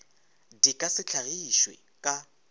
di ka se hlagišwe ka